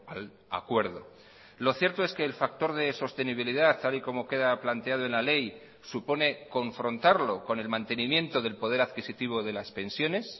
al acuerdo lo cierto es que el factor de sostenibilidad tal y como queda planteado en la ley supone confrontarlo con el mantenimiento del poder adquisitivo de las pensiones